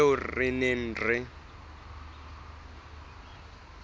eo re neng re e